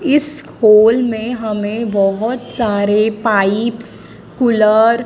इस होल में हमें बोहोत सारे पाइप्स कुलर --